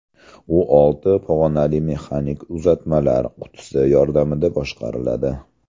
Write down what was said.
U olti pog‘onali mexanik uzatmalar qutisi yordamida boshqariladi.